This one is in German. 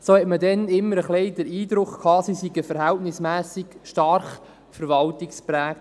Man hatte immer ein wenig den Eindruck, sie seien verhältnismässig stark von der Verwaltung geprägt.